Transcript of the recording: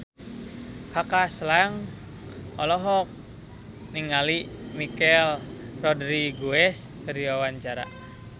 Kaka Slank olohok ningali Michelle Rodriguez keur diwawancara